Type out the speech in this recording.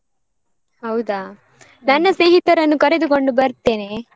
ಹೌದಾ? ನನ್ನ. ಸ್ನೇಹಿತರನ್ನು ಕರೆದುಕೊಂಡು ಬರ್ತೇನೆ.